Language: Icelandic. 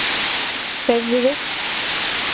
Hreyfðu þig.